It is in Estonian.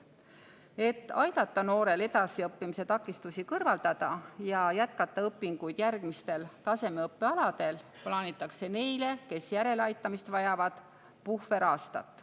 Et aidata noorel kõrvaldada takistusi edasiõppimisel ja jätkata õpinguid järgmistel tasemeõppe aladel, plaanitakse neile, kes järeleaitamist vajavad, puhveraastat.